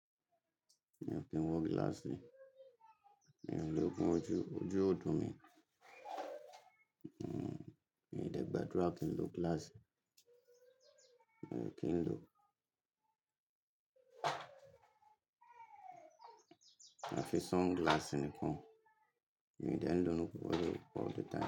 Mi o kin wo gilaasi, mi on logun oju, oju o dun mi, mi de gbadura kin lo gilaasi, mio kin lo. Àfi sunglass nìkan, mi dẹ̀ ń lò ó ní gbogbo all the time.